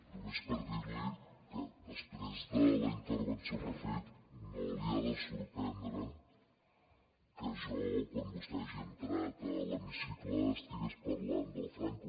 només per dir li que després de la intervenció que ha fet no li ha de sorprendre que jo quan vostè ha entrat a l’hemicicle estigués parlant de franco